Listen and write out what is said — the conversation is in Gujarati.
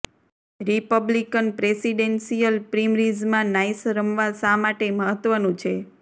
રિપબ્લિકન પ્રેસિડેન્શિયલ પ્રિમરીઝમાં નાઇસ રમવા શા માટે મહત્વનું છે